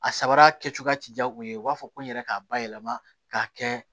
A sabara kɛcogoya ti diya u ye u b'a fɔ ko n yɛrɛ k'a bayɛlɛma k'a kɛ